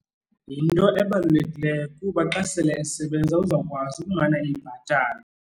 Yinto ebalulekileyo kuba xa sele esebenza uzawukwazi ukumana eyibhatala.